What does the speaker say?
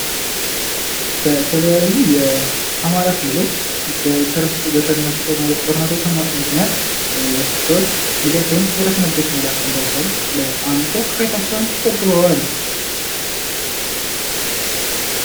በተለያዩ የአማራ ክልሎች በተነሱ ጦርነቶች ምክንያት ሰዎች ልጃቸውን ወደ ትምህርት ቤት መላክ እንዳልቻሉ ለአሚኮ ቅሬታቸውን ዘግበዋል።